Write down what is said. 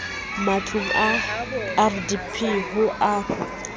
matlong a rdp ho a